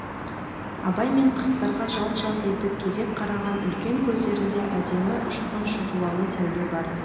абай мен қырттарға жалт-жалт етіп кезек қараған үлкен көздерінде әдемі ұшқын шұғылалы сәуле бар